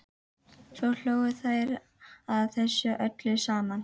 Svo hlógu þær að þessu öllu saman.